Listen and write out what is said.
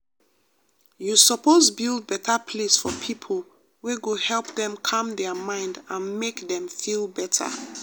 you suppose build better place for people wey go help them calm their mind and make them feel better